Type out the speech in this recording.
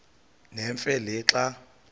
nemfe le xa